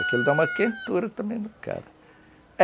Aquilo dá uma quentura também no cara.